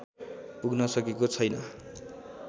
पुग्न सकेको छैन